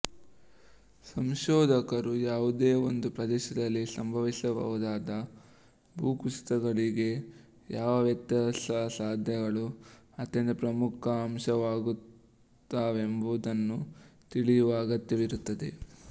ಸಂಶೋಧಕರು ಯಾವುದೇ ಒಂದು ಪ್ರದೇಶದಲ್ಲಿ ಸಂಭವಿಸಬಹುದಾದ ಭೂಕುಸಿತಗಳಿಗೆ ಯಾವ ವ್ಯತ್ಯಾಸಸಾಧ್ಯಗಳು ಅತ್ಯಂತ ಪ್ರಮುಖ ಅಂಶವಾಗುತ್ತವೆಂಬುದನ್ನು ತಿಳಿಯುವ ಅಗತ್ಯವಿರುತ್ತದೆ